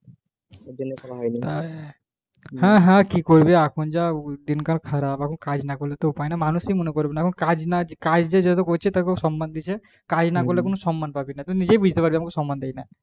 হ্যাঁ হ্যাঁ কি করবি এখন যা দিন কাল খারাপ এখন কাজ না করলে উপায় নেই মানুষই তো মনে করবে না কাজ যে যত করছে মানুষ সন্মান দিচ্ছে কাজ না করলে কোনো সন্মান পাবি না নিজেই বুজতে পারবি সন্মান পাবি না